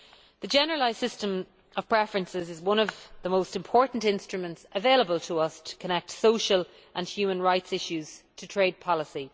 The Generalised System of Preferences is one of the most important instruments available to us to connect social and human rights issues to trade policy.